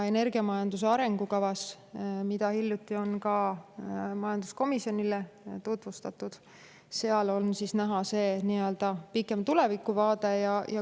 Energiamajanduse arengukavas, mida on hiljuti ka majanduskomisjonile tutvustatud, on näha pikem tulevikuvaade.